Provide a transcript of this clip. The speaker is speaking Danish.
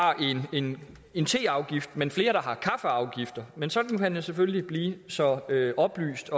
en en teafgift men flere der har en kaffeafgift men sådan kan man selvfølgelig blive så oplyst